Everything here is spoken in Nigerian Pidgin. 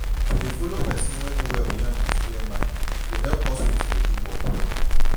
to dey follow person wey no well yan with clear mind go help hospital dey do work well